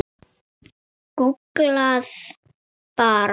Gúgglið bara.